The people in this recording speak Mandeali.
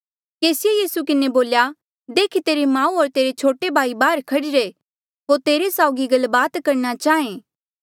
केसिए यीसूए किन्हें बोल्या देख तेरी माऊ होर तेरे छोटे भाई बाहर खड़ीरे होर तेरे साउगी गलबात करणा चाहें